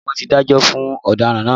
Bẹ́ẹ̀ni wọn tí dájọ́ fún ọ̀daràn náà